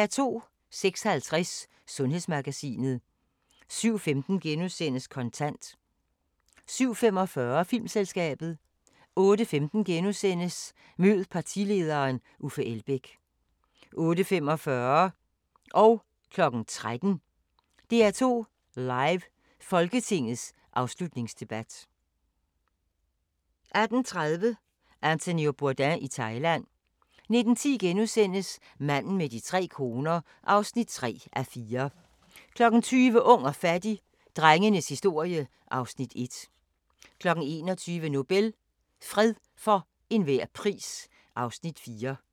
06:50: Sundhedsmagasinet 07:15: Kontant * 07:45: Filmselskabet 08:15: Mød partilederen: Uffe Elbæk * 08:45: DR2 Live: Folketingets afslutningsdebat 13:00: DR2 Live: Folketingets afslutningsdebat 18:30: Anthony Bourdain i Thailand 19:10: Manden med de tre koner (3:4)* 20:00: Ung og fattig - drengenes historie (Afs. 1) 21:00: Nobel – fred for enhver pris (Afs. 4)